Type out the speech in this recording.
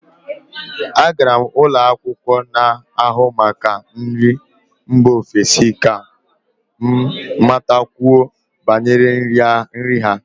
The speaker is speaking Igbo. Agara m ụlọ akwụkwọ n'ahụ maka nri mba ofesi ka m matakwuo banyere nri ha